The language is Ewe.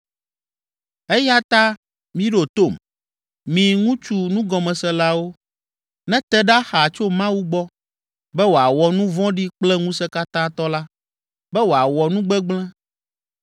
“Eya ta miɖo tom, mi ŋutsu nugɔmeselawo. Nete ɖa xaa tso Mawu gbɔ, be wòawɔ nu vɔ̃ɖi kple Ŋusẽkatãtɔ la, be wòawɔ nu gbegblẽ.